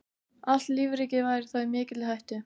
Allt lífríkið væri þá í mikilli hættu.